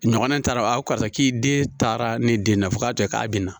Ɲɔgɔnna ta dɔrɔn a ko karisa k'i den taara ne den na fo k'a kɛ k'a bɛ na